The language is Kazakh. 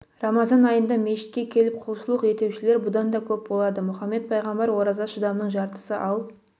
рамазан айында мешітке келіп құлшылық етушілер бұдан да көп болады мұхаммед пайғамбар ораза шыдамның жартысы ал